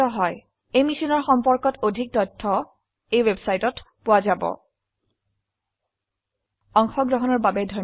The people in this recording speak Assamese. এই বিষয়ে বিস্তাৰিত তথ্য এই লিঙ্কত প্ৰাপ্তিসাধ্য spoken hyphen tutorial dot org slash এনএমইআইচিত হাইফেন ইন্ট্ৰ অংশগ্ৰহনেৰ জন্য ধন্যবাদ